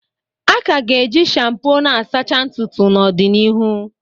A ka ga-eji shampoo n'asachaa ntutu n'ọdịnihu